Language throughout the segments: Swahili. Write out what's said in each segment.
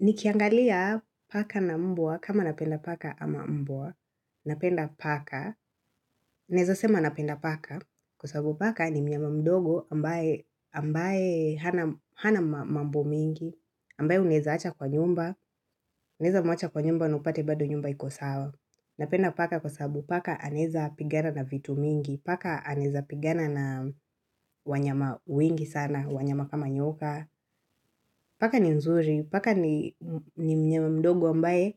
Nikiangalia paka na mbwa kama napenda paka ama mbwa, napenda paka, naeza sema napenda paka kwa sababu paka ni mnyama mdogo ambaye hana mambo mingi, ambaye unaeza acha kwa nyumba, unaeza mwacha kwa nyumba na upate bado nyumba iko sawa. Napenda paka kwa sababu paka anaeza pigana na vitu mingi, paka anaeza pigana na wanyama wengi sana, wanyama kama nyoka. Paka ni nzuri, paka ni mnyama mdogo ambaye,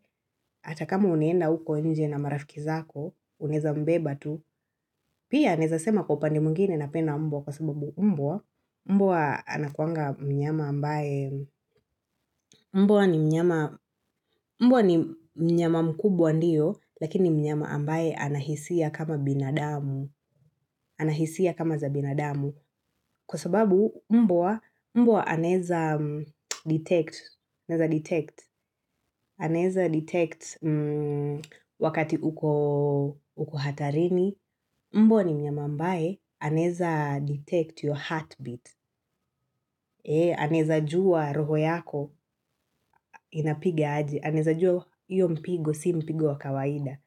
hata kama unaenda huko nje na marafiki zako, unaeza mbeba tu, pia naeza sema kwa upande mwingine napenda mbwa kwa sababu mbwa, mbwa anakuanga mnyama ambaye, mbwa ni mnyama mbwa ni mnyama mkubwa ndiyo, lakini mnyama ambaye anahisia kama binadamu, anahisia kama za binadamu. Kwa sababu mbwa, mbwa anaeza detect, anaeza detect, anaeza detect wakati uko hatarini, mbwa ni mnyama ambaye anaeza detect your heartbeat, anaeza jua roho yako inapiga ajy, anaeza jua hiyo mpigo, sio mpigo wa kawaida.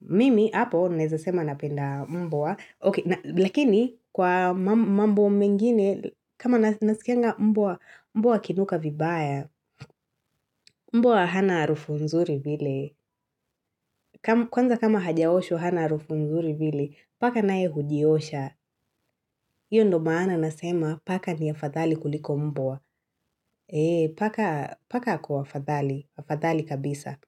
Mimi hapo naeza sema napenda mbwa, lakini kwa mambo mengine, kama nasikianga mbwa akinuka vibaya, mbwa hana harufu nzuri vile, kwanza kama hajaoshwa hana harufu nzuri vile, paka naye hujiosha. Iyo ndio maana nasema, paka ni afadhali kuliko mbwa. Paka ako afadhali, afadhali kabisa.